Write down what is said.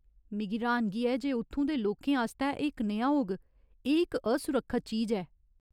मिगी र्‌हानगी ऐ जे उत्थूं दे लोकें आस्तै एह् कनेहा होग, एह् इक असुरक्खत चीज ऐ !